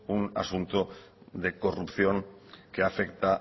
un asunto de corrupción que afecta